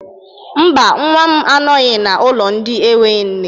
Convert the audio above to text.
Mba, nwa m anoghị n'ụlọ ndị enwe nne.